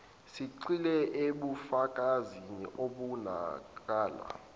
sigxile ebufakazini obubonakalayo